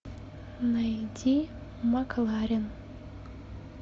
найди макларен